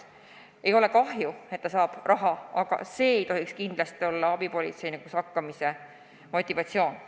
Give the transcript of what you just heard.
Mul ei ole kahju, et ta saab raha, aga see ei tohiks kindlasti olla abipolitseinikuks hakkamise motivatsioon.